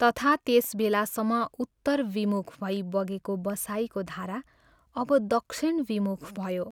तथा त्यस बेलासम्म उत्तरविमुख भई बगेको बसाइको धारा अब दक्षिणविमुख भयो।